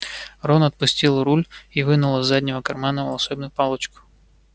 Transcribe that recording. рон отпустил руль и вынул из заднего кармана волшебную палочку